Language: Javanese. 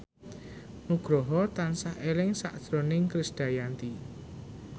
Nugroho tansah eling sakjroning Krisdayanti